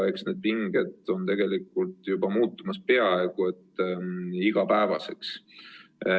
Need pinged on muutumas peaaegu et igapäevaseks.